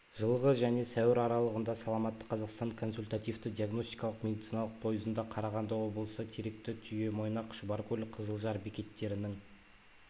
жылғы және сәуір аралығында саламатты қазақстан консультативті-диагностикалық медициналық пойызында қарағанды облысы теректі түйемойнақ шұбаркөл қызылжар бекеттерінің